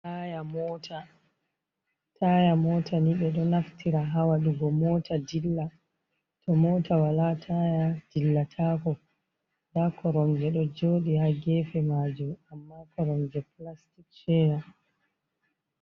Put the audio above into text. Taaya moota, taaya moota ni, ɓe ɗo naftira haa waɗugo moota dilla, to moota walaa taaya dillataako, ndaa koromje ɗo jooɗi haa geefe maajum, amma koromje plastic cheya.